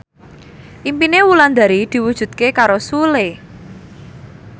impine Wulandari diwujudke karo Sule